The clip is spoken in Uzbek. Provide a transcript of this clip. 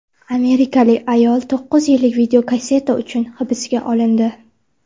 Amerikalik ayol to‘qqiz yillik videokasseta uchun hibsga olindi.